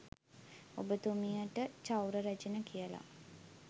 ඔබතුමියට චෞර රැජින කියල